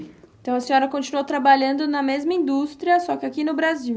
Então a senhora continuou trabalhando na mesma indústria, só que aqui no Brasil?